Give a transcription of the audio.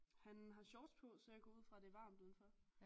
Han har shorts på så jeg går ud fra det er varmt udenfor